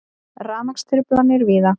Rafmagnstruflanir víða